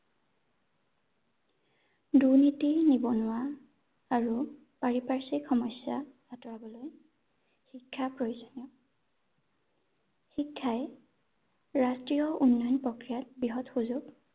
দুৰ্নীতি, নিবনুৱা, আৰু পাৰিপাৰ্শ্বিক সমস্যা আঁতৰাবলৈ শিক্ষা প্ৰয়োজনীয় ৷ শিক্ষাই ৰাষ্ট্ৰীয় উন্নয়ন প্ৰক্ৰিয়াত বৃহৎ সুযোগ